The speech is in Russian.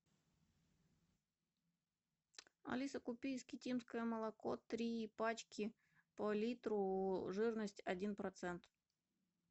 алиса купи искитимское молоко три пачки по литру жирность один процент